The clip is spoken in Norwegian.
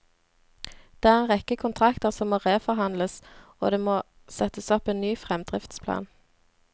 Det er en rekke kontrakter som må reforhandles, og det må settes opp en ny fremdriftsplan.